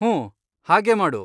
ಹೂಂ, ಹಾಗೇ ಮಾಡು.